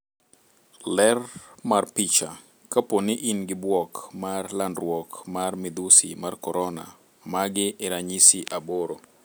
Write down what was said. Ler mar picha, kapo ni ingi buok mar landruok mar midhusi mar korona, magi e ranyisi 8.